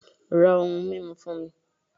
Ra ohun mímu fún mi